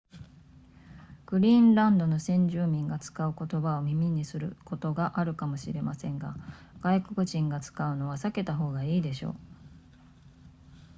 グリーンランドの先住民が使う言葉を耳にすることがあるかもしれませんが外国人が使うのは避けた方がいいでしょう